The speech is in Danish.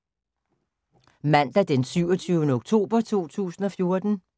Mandag d. 27. oktober 2014